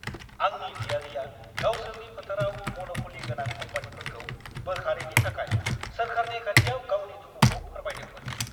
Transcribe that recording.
आंनि बियादैआ गावसोरनि फोथाराव मन'प'लि गोनां कम्पानिफोरखौ बोखारैनि थाखाय सोरखारनि खाथियाव गावनि दुखुखौ फोरमायदोंमोन।